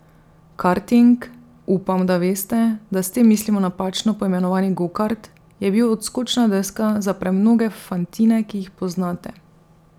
Karting, upam, da veste, da s tem mislimo napačno poimenovani gokart, je bil odskočna deska za premnoge fantine, ki jih poznate.